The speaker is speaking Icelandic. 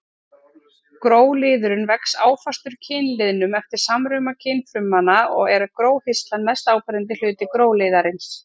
Gróliðurinn vex áfastur kynliðnum eftir samruna kynfrumanna og er gróhirslan mest áberandi hluti gróliðarins.